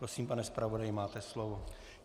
Prosím, pane zpravodaji, máte slovo.